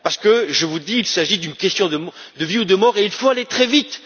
Parce que je vous le dis, il s'agit d'une question de vie ou de mort et il faut aller très vite.